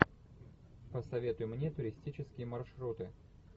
посоветуй мне туристические маршруты